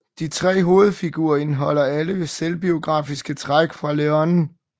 De tre hovedfigurer indeholder alle selvbiografiske træk fra Leone